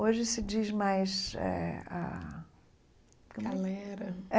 Hoje se diz mais... eh a como é Galera.